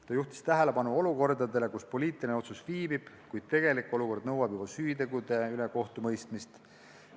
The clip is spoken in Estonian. Ta juhtis tähelepanu olukordadele, kus poliitiline otsus viibib, kuid tegelik olukord nõuab juba süütegude üle kohtumõistmist.